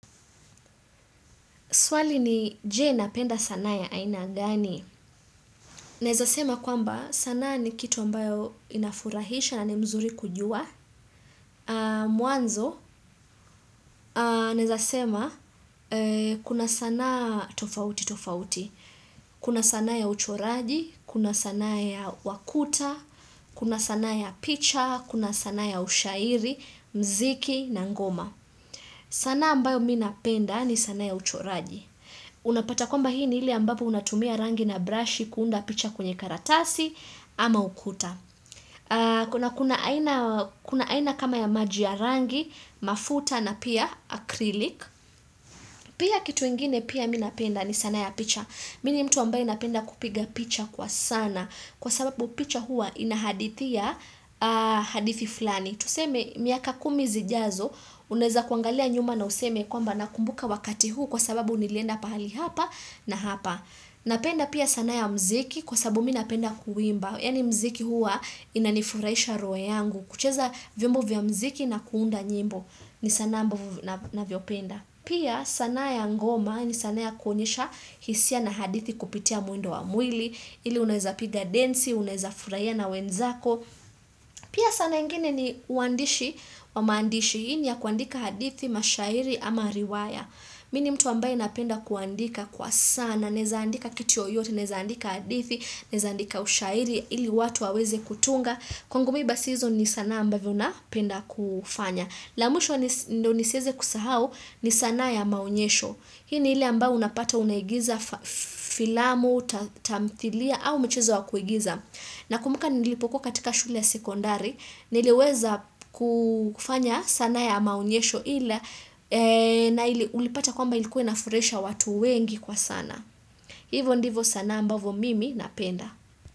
Swali ni je na penda sanaya aina gani? Naezasema kwamba sanaa ni kitu ambayo inafurahisha na ni mzuri kujua. Mwanzo, naezasema kuna sanaa tofauti tofauti. Kuna sanaa ya uchoraji, kuna sanaa ya wakuta, kuna sanaa ya picha, kuna sanaa ya ushairi, mziki na ngoma. Sanaa ambayo minapenda ni sanaa ya uchoraji. Unapata kwamba hii ni ile ambapo unatumia rangi na brushi kuunda picha kwenye karatasi ama ukuta Kuna kuna aina kama ya maji ya rangi, mafuta na pia akrilik Pia kitu ingine pia minapenda ni sanaa ya picha Mini mtu ambayo inapenda kupiga picha kwa sana Kwa sababu picha huwa inahadithia hadithi fulani Tuseme miaka kumi zijazo unaeza kuangalia nyuma na useme kwamba nakumbuka wakati huu Kwa sababu nilienda pahali hapa na hapa Napenda pia sanaa ya mziki Kwa sababu minapenda kuimba Yaani mziki huwa inanifurahisha roho yangu kucheza vyombo vya mziki na kuunda nyimbo ni sanaa amabavo na vyopenda Pia sanaa ya ngoma ni sanaa ya kuonyesha hisia na hadithi kupitia mwendo wa mwili ili unaweza piga densi, unaeza furahia na wenzako Pia sanaa ingine ni uandishi wa maandishi Hii ni ya kuandika hadithi, mashairi ama riwaya Mini mtu ambaye napenda kuandika kwa sana, naezaandika kitu yoyote, naezaandika hadithi, naezaandika ushairi, ili watu waweze kutunga, kwangu mi basi hizo ni sanaa ambavyo napenda kufanya. La mwisho ndo nisieze kusahau ni sana ya maonyesho. Hii ni ile ambayo unapata unahigiza filamu, tamthilia au michezo yakuigiza. Na kumbuka nilipokuwa katika shule ya sekondari, niliweza kufanya sana ya maonyesho ila na ulipata kwamba ilikuwa inafurisha watu wengi kwa sana. Hivo ndivo sana ambavo mimi napenda.